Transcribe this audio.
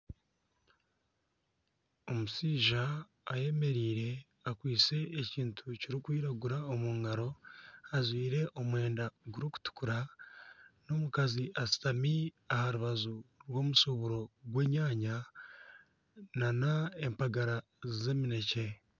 Omushaija ayemereire akwatsire ekintu kirikwiragura omu ngaro ajwaire omwenda gurikutukura n'omukazi ashutami aha rubaju rw'omushuburo gw'enyanya nana empagara z'eminekye.